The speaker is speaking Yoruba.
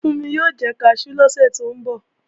Fúnmi o jẹ kaṣú lọ́sẹ̀ tó ń bọ̀